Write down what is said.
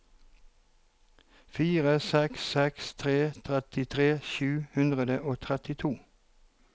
fire seks seks tre trettitre sju hundre og trettito